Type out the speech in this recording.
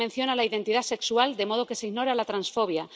No se menciona la identidad sexual, de modo que se ignora la transfobia.